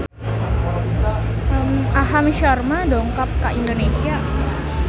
Aham Sharma dongkap ka Indonesia